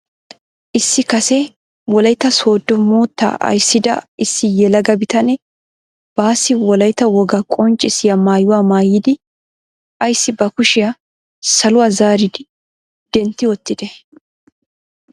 Issi kase Wolayttaa Sooddo moottaa ayssida issi yelaga bitanee baassi Wolaytta wogaa qonccisiyaa mayuwaa maayidi aysi ba kushiyaa saluwaa zaaridi dentti wottidee?